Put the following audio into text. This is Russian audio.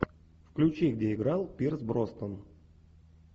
включи где играл пирс броснан